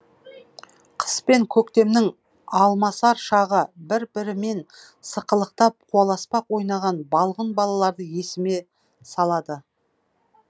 қыс пен көктемнің алмасар шағы бір бірімен сықылықтап қуаласпақ ойнаған балғын балаларды есіме салады